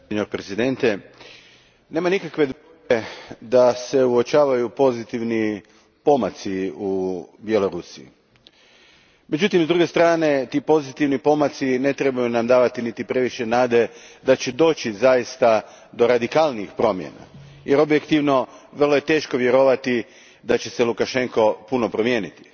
Gospodine predsjedniče, nema nikakve dvojbe da se uočavaju pozitivni pomaci u Bjelorusiji. Međutim, s druge strane ti pozitivni pomaci ne trebaju nam davati previše nade da će zaista doći do radikalnijih promjena, jer objektivno je vrlo teško vjerovati da će se Lukašenko puno promijeniti.